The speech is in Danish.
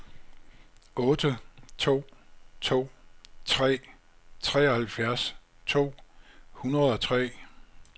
otte to to tre treoghalvfjerds to hundrede og tre